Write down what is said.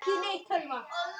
Bros sem af sér gaf.